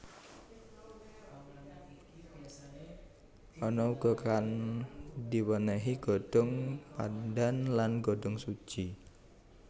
Ana uga kang diwénéhi godhong pandan lan godhongsuji